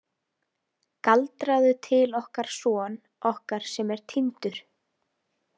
Galdraðu til okkar son okkar sem er týndur.